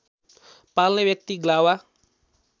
पाल्ने व्यक्ति ग्लावा